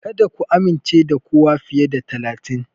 Kada ku amince da kowa fiye da talatin.